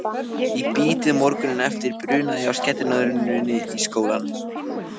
Í bítið morguninn eftir brunaði ég á skellinöðrunni í skólann.